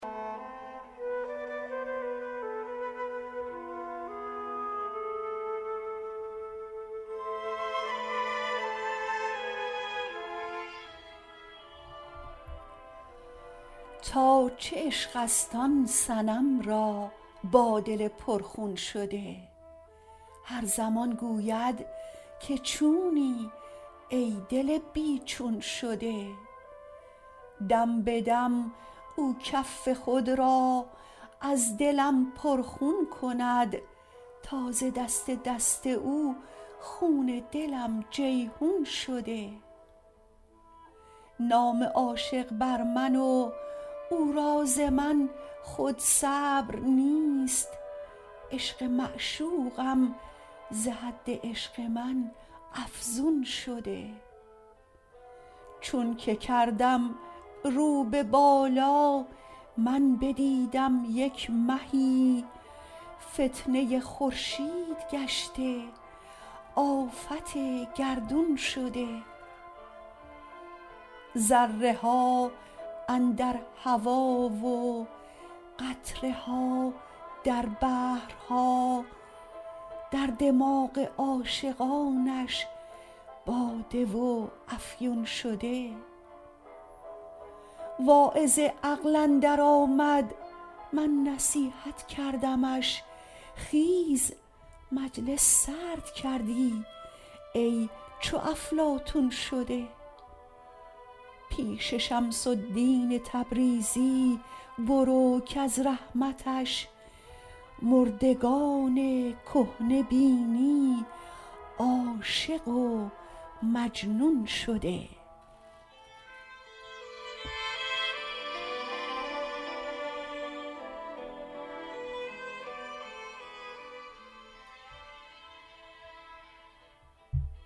تا چه عشق است آن صنم را با دل پرخون شده هر زمان گوید که چونی ای دل بی چون شده دم به دم او کف خود را از دلم پرخون کند تا ز دست دست او خون دلم جیحون شده نام عاشق بر من و او را ز من خود صبر نیست عشق معشوقم ز حد عشق من افزون شده چونک کردم رو به بالا من بدیدم یک مهی فتنه خورشید گشته آفت گردون شده ذره ها اندر هوا و قطره ها در بحرها در دماغ عاشقانش باده و افیون شده واعظ عقل اندرآمد من نصیحت کردمش خیز مجلس سرد کردی ای چو افلاطون شده پیش شمس الدین تبریزی برو کز رحمتش مردگان کهنه بینی عاشق و مجنون شده